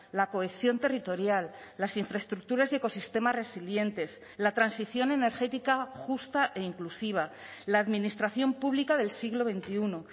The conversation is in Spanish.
la cohesión territorial las infraestructuras y ecosistemas resilientes la transición energética justa e inclusiva la administración pública del siglo veintiuno